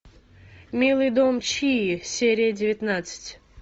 милый дом чии серия девятнадцать